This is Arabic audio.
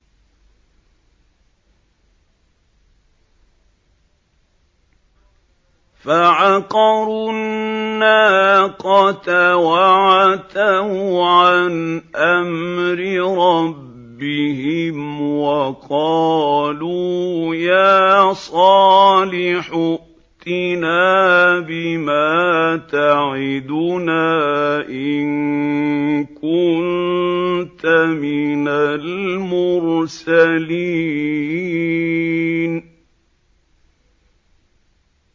فَعَقَرُوا النَّاقَةَ وَعَتَوْا عَنْ أَمْرِ رَبِّهِمْ وَقَالُوا يَا صَالِحُ ائْتِنَا بِمَا تَعِدُنَا إِن كُنتَ مِنَ الْمُرْسَلِينَ